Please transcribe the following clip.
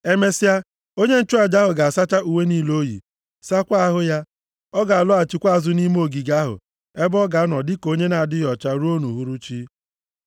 Emesịa, onye nchụaja ahụ ga-asacha uwe niile o yi; sakwaa ahụ ya. Ọ ga-alọghachikwa azụ nʼime ogige ahụ ebe ọ ga-anọ dịka onye na-adịghị ọcha ruo nʼuhuruchi.